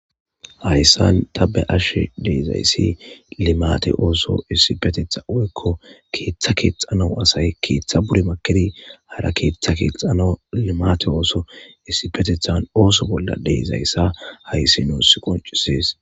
Hayssan tabe7ashe dizayssi limaate ooso issipetethan woykko keetha keexxanaw asay keetha poli makkidi hara keetha keexxanaw issipetethan ooso bolla de7izayssa hayssi nuussii qonccisees.